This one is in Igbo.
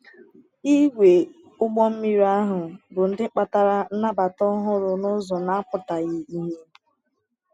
Ìgwè ụgbọ mmiri ahụ bụ ndị kpatara nnabata ọhụrụ n’ụzọ na-apụtaghị ìhè.